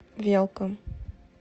велком